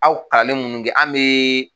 Aw kalanlen mun kɛ an bɛ